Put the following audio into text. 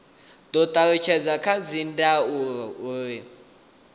do talutshedzwa kha dzindaulo u